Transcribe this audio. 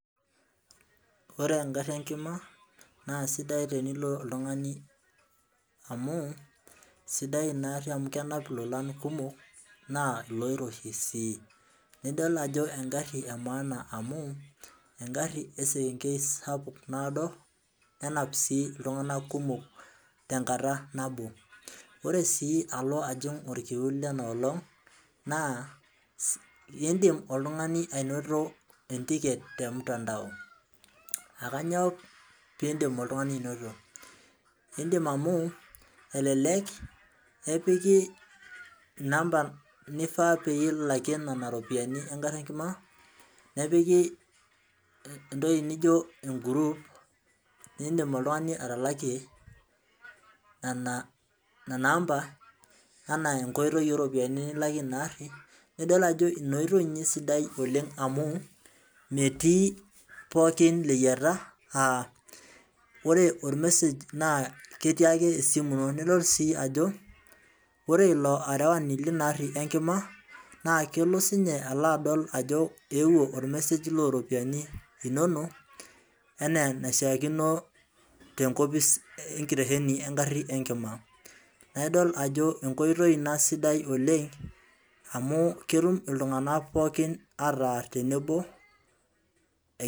Ore egarri enkima, na sidai tenilo oltung'ani amu, sidai inaarri amu kenap ilolan kumok, naa iloiroshi si. Nidol ajo egarri emaana amu, egarri esekenkei sapuk naado, nenap si iltung'anak kumok tenkata nabo. Ore si alo ajing orkiu lenolong',naa idim oltung'ani ainoto entiket temtandao. Akanyoo pidim oltung'ani anoto? Idim amu, elelek epiki inamba nifaa pee ilakie nena ropiyiani egarri enkima, nepiki entoki nijo eguruup, nidim oltung'ani atalakie nana amba, enaa enkoitoi oropiyiani nilakie inaarri, nidol ajo inoitoi inye esidai oleng amu, metii pookin leyiata, ah ore ormesej naa ketii ake esimu ino. Nelotu si ajo, ore ilo arewani lina arri enkima, naa kelo sinye alo adol ajo eewuo ormesej loropiyiani inonok, enaa enaishaakino tenkopis enkitesheni egarri enkima. Na idol ajo enkoitoi ina sidai oleng, amu ketum iltung'anak pookin ataa tenebo